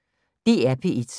DR P1